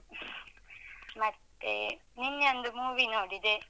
ಮತ್ತೆ ನಿನ್ನೆ ಒಂದು movie ನೋಡಿದೆ.